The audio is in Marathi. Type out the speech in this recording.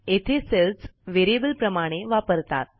येथे सेल्स व्हेरिएबल प्रमाणे वापरतात